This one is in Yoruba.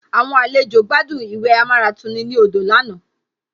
Àwọn àlejò gbádùn ìwẹ̀ amáratuni ní odò lánàá